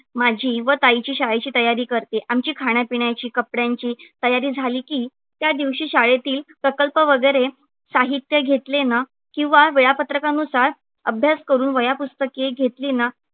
माझी व ताईची शाळेची तयारी करते. आमची खाण्यापिण्याची, कपडय़ांची तयारी झाली की त्या दिवशी शाळेतील प्रकल्प वगैरे साहित्य घेतले ना किंवा वेळापत्रकानुसार अभ्यास करून वह्या पुस्तके घेतली ना